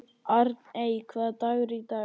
Arney, hvaða dagur er í dag?